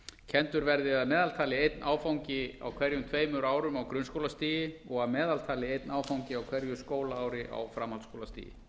kenndur verði að meðaltali einn áfangi á hverjum tveimur árum á grunnskólastigi og að meðaltali einn áfangi á hverju skólaári á framhaldsskólastigi